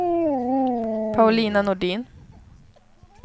Paulina Nordin